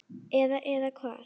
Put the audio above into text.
Eða, eða hvað?